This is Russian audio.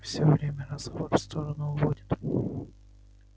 всё время разговор в сторону уводит